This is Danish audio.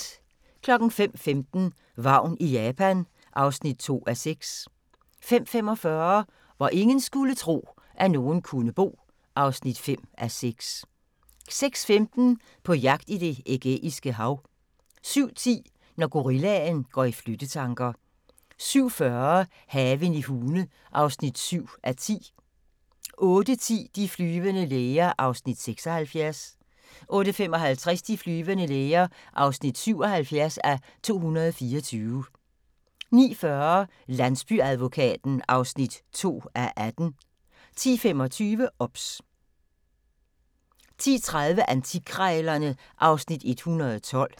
05:15: Vagn i Japan (2:6) 05:45: Hvor ingen skulle tro, at nogen kunne bo (5:6) 06:15: På jagt i Det Ægæiske Hav 07:10: Når gorillaen går i flyttetanker 07:40: Haven i Hune (7:10) 08:10: De flyvende læger (76:224) 08:55: De flyvende læger (77:224) 09:40: Landsbyadvokaten (2:18) 10:25: OBS 10:30: Antikkrejlerne (Afs. 112)